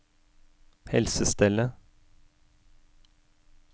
helsestellet